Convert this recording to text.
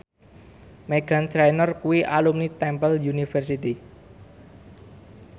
Meghan Trainor kuwi alumni Temple University